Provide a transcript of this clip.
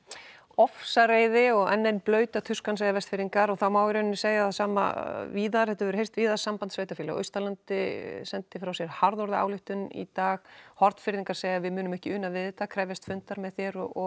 ofsareiði og enn ein blauta tuskan segja Vestfirðingar og það mætti segja það sama víðar þetta hefur heyrst víða samband sveitafélaga á Austurlandi sendi frá sér harðorða ályktun í dag Hornfirðingar segja við munum ekki una við þetta krefjast fundar með þér og